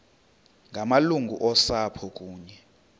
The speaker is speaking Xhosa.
ngamalungu osapho kunye